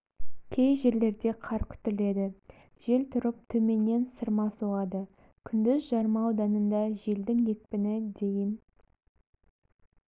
кей жерлерде қар күтіледі жел тұрып төменнен сырма соғады күндіз жарма ауданында желдің екпіні дейін